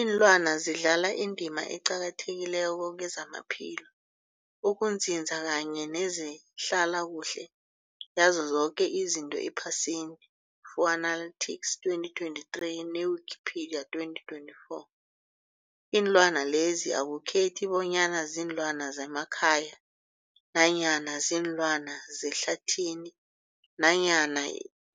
Iinlwana zidlala indima eqakathekileko kezamaphilo, ukunzinza kanye nezehlala kuhle yazo zoke izinto ephasini, Fuanalytics 2023, ne-Wikipedia 2024. Iinlwana lezi akukhethi bonyana ziinlwana zemakhaya nanyana kuziinlwana zehlathini nanyana